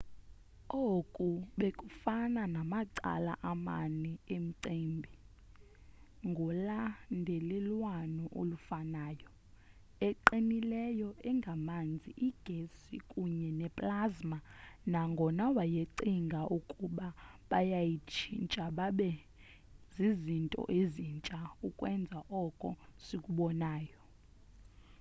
oku bekufana namacala amane emicimbi ngolandelelwano olufanayo: eqinileyo engamanzi igesi kunye neplasma nangona wayecinga ukuba bayatshintsha babe zizinto ezintsha ukwenza oko sikubonayo